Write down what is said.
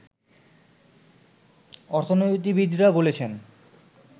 অর্থনীতিবিদরা বলছেন